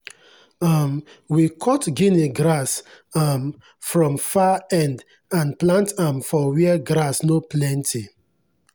um we cut guinea grass um from far end and plant am for where grass no plenty.